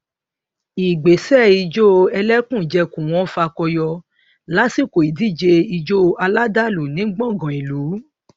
ìgbésẹ ìjó ẹlẹkùnjẹkùn wọn fakọyọ lásìkò ìdíje ijó aládàlú ní gbàngán ìlú